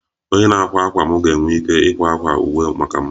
Onye na-akwa akwa m ga-enwe ike ịkwa akwa uwe maka m